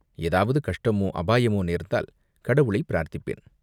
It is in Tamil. ஏதாவது கஷ்டமோ, அபாயமோ நேர்ந்தால் கடவுளைப் பிரார்த்திப்பேன்.